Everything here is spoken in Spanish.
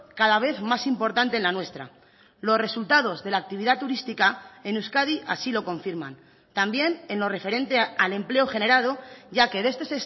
cada vez más importante en la nuestra los resultados de la actividad turística en euskadi así lo confirman también en lo referente al empleo generado ya que este